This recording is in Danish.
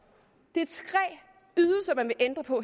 man vil ændre på